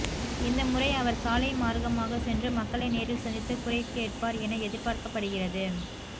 இந்த முறை அவர் சாலை மார்க்கமாக சென்று மக்களை நேரில் சந்தித்து குறை கேட்பார் என எதிர்பார்க்கப்படுகிறது